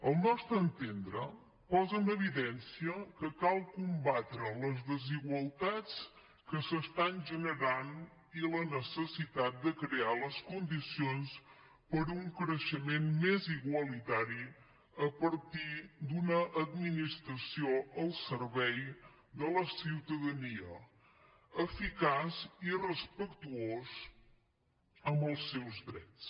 al nostre entendre posa en evidència que cal combatre les desigualtats que s’estan generant i la necessitat de crear les condicions per a un creixement més igualitari a partir d’una administració al servei de la ciutadania eficaç i respectuós amb els seus drets